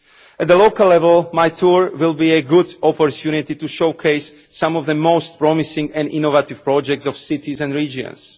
At the local level, my tour will be a good opportunity to showcase some of the most promising and innovative projects of cities and regions.